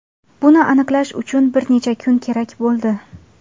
Buni aniqlash uchun bir necha kun kerak bo‘ldi!